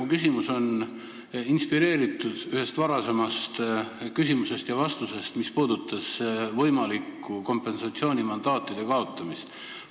Mu küsimus on inspireeritud ühest varasemast küsimusest ja vastusest, mis puudutas võimalikku kompensatsioonimandaatide kaotamist.